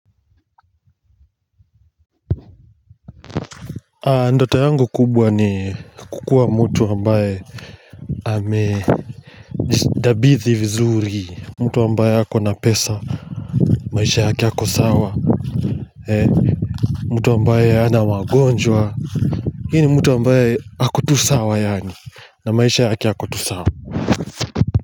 Ndoto yangu kubwa ni kukuwa mtu ambaye ame jitabithi vizuri mtu ambaye akona pesa maisha yake ako sawa ee mtu ambaye hana magonjwa hini mtu ambaye ako tu sawa yaani na maisha yake yako tu sawa.